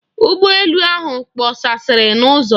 Ụgbọ elu ahụ kpọkasịrị n'ụzọ.